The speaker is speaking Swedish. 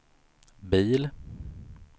bil